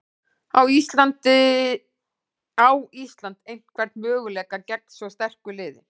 Á Ísland einhvern möguleika gegn svo sterku liði?